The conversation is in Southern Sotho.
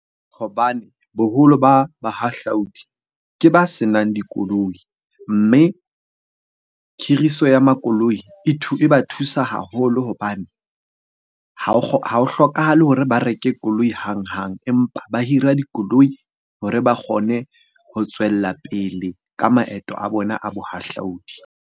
Hobane boholo ba bahahlaodi ke ba senang dikoloi. Mme khiriso ya makoloi e ba thusa haholo hobane ha ho hlokahale hore ba reke koloi hang-hang, empa ba hira dikoloi hore ba kgone ho tswella pele ka maeto a bona a bohahlaudi.